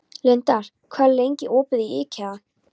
Lindar, hvað er lengi opið í IKEA?